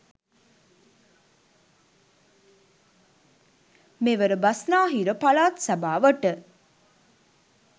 මෙවර බස්නාහිර පළාත් සභාවට